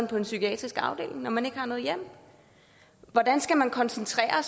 på en psykiatrisk afdeling når man ikke har noget hjem hvordan skal man koncentrere